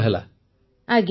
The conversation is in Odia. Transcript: ପୁନମ ନୌଟିଆଲ ଆଜ୍ଞା